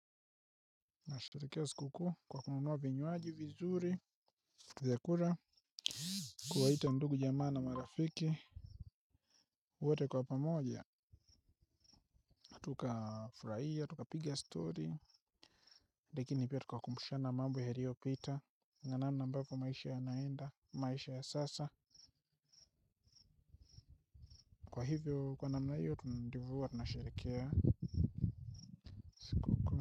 Nasharikea sikuku kwa kunumuwa vinyuaji vizuri Zekura Kuwaita ndugu jamaa na marafiki wote kwa pamoja tukafuraie tukapige stori. Lekini pia tukakumbushane mambo yaliopita na namna ambavyo maisha yamaenda maisha ya sasa. Kwa hivyo kwa namna hiyo tunadivuwa tunasharikea.